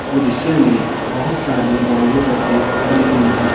दृश्य में बहुत सारी वॉल्वो बसें खड़ी हुई हैं।